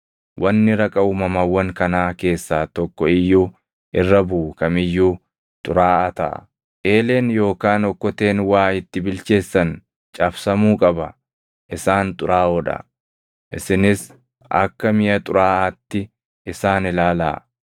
Wanni raqa uumamawwan kanaa keessaa tokko iyyuu irra buʼu kam iyyuu xuraaʼaa taʼa; eeleen yookaan okkoteen waa itti bilcheessan cabsamuu qaba. Isaan xuraaʼoo dha; isinis akka miʼa xuraaʼaatti isaan ilaalaa.